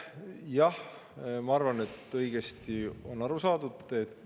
Jah, ma arvan, et on õigesti aru saadud.